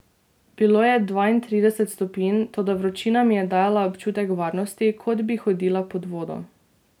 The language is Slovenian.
Bilo je dvaintrideset stopinj, toda vročina mi je dajala občutek varnosti, kot bi hodila pod vodo.